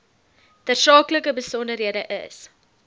tersaaklike besonderhede is